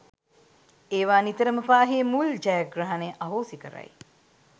ඒවා නිතරම පාහේ මුල් ජයග්‍රහණය අහෝසි කරයි